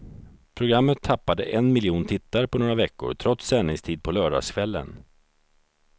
Programmet tappade en miljon tittare på några veckor, trots sändningstid på lördagskvällen.